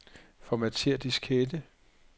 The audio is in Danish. Formatér diskette.